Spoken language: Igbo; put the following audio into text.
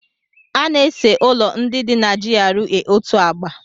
A na-ese ụlọ ndị dị na GRA otu agba.